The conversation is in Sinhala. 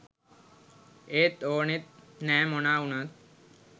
ඒත් ඕනෙත් නෑ මොනා වුනත්